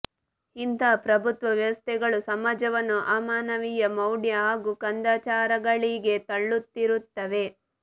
ಇಂತಹ ಪ್ರಭುತ್ವ ವ್ಯವಸ್ಥೆಗಳು ಸಮಾಜವನ್ನು ಅಮಾನವೀಯ ಮೌಢ್ಯ ಹಾಗೂ ಕಂದಾಚಾರಗಳಿಗೆ ತಳ್ಳುತ್ತಿರುತ್ತವೆ